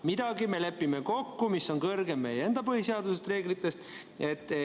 Midagi me lepime kokku, mis on kõrgem meie enda põhiseadusest ja reeglitest.